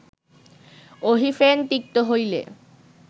অহিফেন তিক্ত হইলে